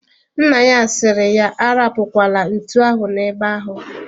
Nna ya si ya arapukwala ntu ahụ na ebe ahu